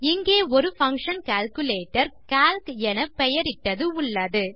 இங்கே ஒரு function calculator calc என பெயரிட்டது உள்ளது